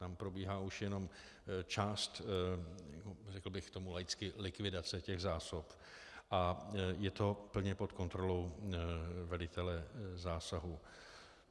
Tam probíhá už jenom část, řekl bych tomu laicky likvidace těch zásob a je to plně pod kontrolou velitele zásahu.